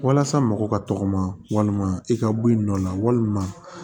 Walasa mɔgɔ ka tɔgɔma walima i ka bɔ i nɔ la walima